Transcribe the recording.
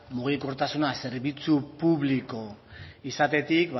mugikortasuna zerbitzu publiko izatetik